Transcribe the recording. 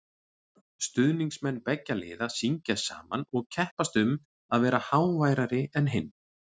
Stuðningsmenn beggja liða syngja saman og keppast um að vera háværari en hinn.